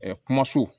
kumaso